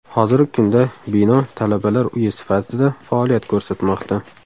Hozirgi kunda bino talabalar uyi sifatida faoliyat ko‘rsatmoqda.